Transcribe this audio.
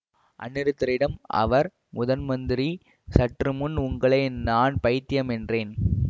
அநிருத்தரிடம் அவர் முதன்மந்திரி சற்று முன் உங்களை நான் பைத்தியம் என்றேன்